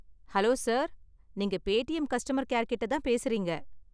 Hello sir, நீங்க Paytm customer care கிட்ட தான் பேசுறீங்க.